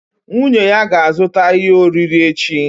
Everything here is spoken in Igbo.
Nwunye ya ga-azụta ihe oriri echi